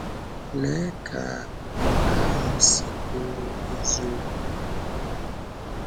Lée ka nke ahụ si bụrụ eziokwu n’ọnọdụ anyị!